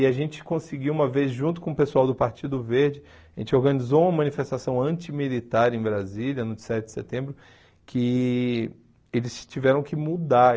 E a gente conseguiu uma vez, junto com o pessoal do Partido Verde, a gente organizou uma manifestação antimilitar em Brasília, no dia sete de setembro, que eles tiveram que mudar.